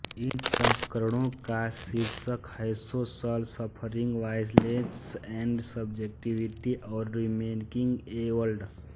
इन संस्करणों का शीर्षक हैसोशल सफ़रिंग वायलेंस एंड सब्जेक्टिविटी और रीमेकिंग ए वर्ल्ड